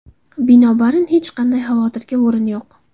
Binobarin, hech qanday xavotirga o‘rin yo‘q.